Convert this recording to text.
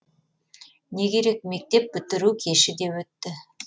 не керек мектеп бітіру кеші де өтті